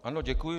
Ano, děkuji.